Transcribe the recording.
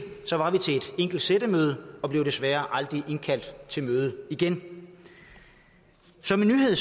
enkelt sættemøde og blev desværre aldrig indkaldt til møde igen som en nyhed